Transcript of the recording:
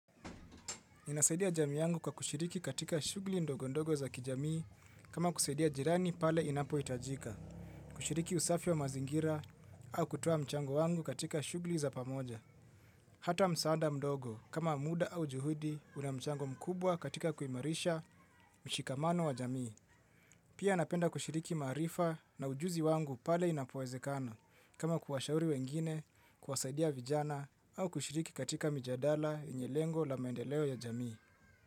Inasaidia jamii yangu kwa kushiriki katika shugli ndogo ndogo za kijamii kama kusaidia jirani pale inapohitajika kushiriki usafi wa mazingira au kutoa mchango wangu katika shughuli za pamoja. Hata msaada mdogo kama muda au juhudi una mchango mkubwa katika kuimarisha mshikamano wa jamii. Pia napenda kushiriki maarifa na ujuzi wangu pale inapoezekana kama kuwashauri wengine, kuwasaidia vijana au kushiriki katika mijadala yenye lengo la maendeleo ya jamii.